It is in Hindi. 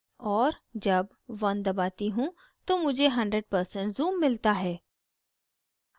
और जब 1 दबाती हूँ तो मुझे 100% zoom मिलता है